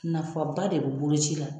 Nafa ba de bɛ boloci la.